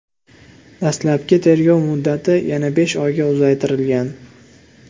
Dastlabki tergov muddati yana besh oyga uzaytirilgan.